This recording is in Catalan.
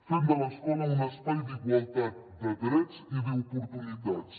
fem de l’escola un espai d’igualtat de drets i d’oportunitats